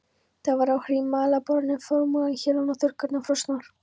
Það var hrím á mælaborðinu, framrúðan héluð og þurrkurnar frosnar.